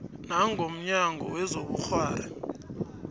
nanga mnyango wezobukghwari